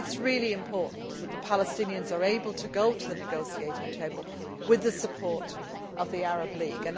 It is really important that the Palestinians are able to go to the negotiating table with the support of the Arab League.